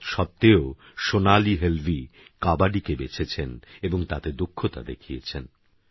তত্সত্বেওসোনালীহেলভীকবাডিকেবেছেছেনএবংতাতেদক্ষতাদেখিয়েছেন